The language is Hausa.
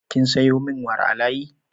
Kin sayo min wara a layi?